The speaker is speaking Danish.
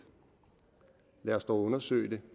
lad os dog undersøge det